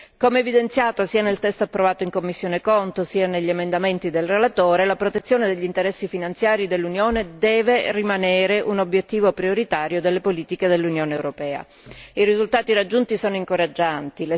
Come evidenziato sia nel testo approvato in commissione CONT, sia negli emendamenti del relatore, la protezione degli interessi finanziari dell'Unione deve rimanere un obiettivo prioritario delle politiche dell'Unione europea. I risultati raggiunti sono incoraggianti.